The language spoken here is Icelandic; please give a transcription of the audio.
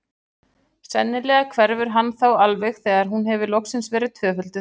Sennilega hverfur hann þá alveg þegar hún hefur loksins verið tvöfölduð.